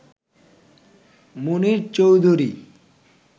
Munier Chowdhury